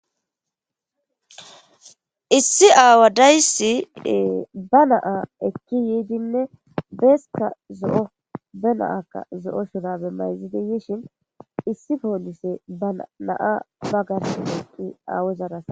issi aawa dayssi yiidinne beeska zo7o be na7aka zo7o mayzidi bishin issi poolisey izetara haasa7ishe dees.